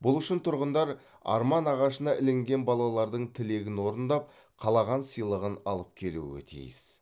бұл үшін тұрғындар арман ағашына ілінген балалардын тілегін орындап қалаған сыйлығын алып келуі тиіс